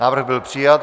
Návrh byl přijat.